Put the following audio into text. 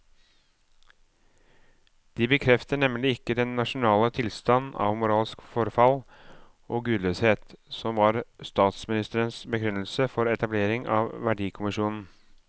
De bekrefter nemlig ikke den nasjonale tilstand av moralsk forfall og gudløshet som var statsministerens begrunnelse for etableringen av verdikommisjonen.